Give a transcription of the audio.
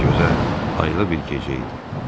Gözəl, aylı bir gecə idi.